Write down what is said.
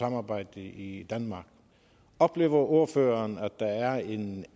samarbejde i danmark oplever ordføreren at der er en